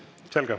Selge.